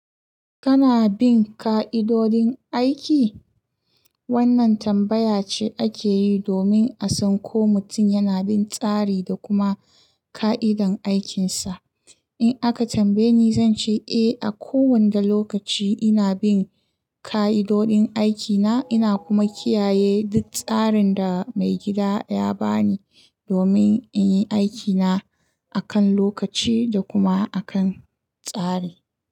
Kana bin ƙa'idodin aiki? Wannan tambaya ce ake yi domin a san ko mutum yana bin tsari da kuma ƙa'idan aikinsa. In aka tambaye ni, zan ce eh, a kowanda lokaci ina bin ƙa'idodin aikina. Ina kuma kiyaye duk tsarin da maigida ya ba ni domin in yi aikina a kan lokaci da kuma a kan tsari.